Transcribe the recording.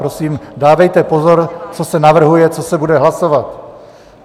Prosím, dávejte pozor, co se navrhuje, co se bude hlasovat.